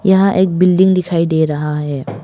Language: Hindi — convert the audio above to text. यहां एक बिल्डिंग दिखाई दे रहा है।